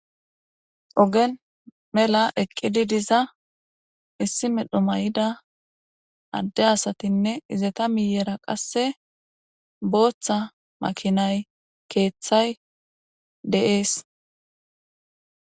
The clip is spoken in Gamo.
ogen mela eqqidi diza issi medho may7ida adde asatinne izeta miyera qasse booththa makinay keeththay deees